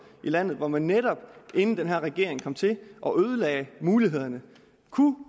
i landet hvor man netop inden den her regering kom til og ødelagde mulighederne kunne